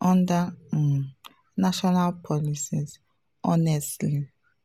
under um national policies honestly.